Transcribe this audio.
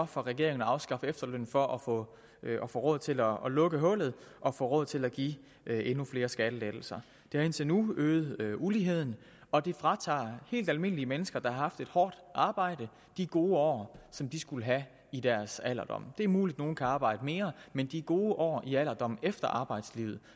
for regeringen at afskaffe efterlønnen for at få råd til at lukke hullet og få råd til at give endnu flere skattelettelser det har indtil nu øget uligheden og det fratager helt almindelige mennesker der har haft et hårdt arbejde de gode år som de skulle have i deres alderdom det er muligt at nogle kan arbejde mere men de gode år i alderdommen efter arbejdslivet